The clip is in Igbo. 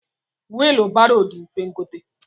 Wilu baro di mfe ngote.